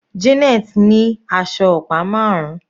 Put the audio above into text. Janet ní aṣọ ọ̀pá marun.